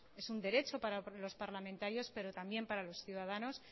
es un derecho para los parlamentarios pero también para los ciudadanos